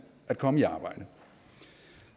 at komme i arbejde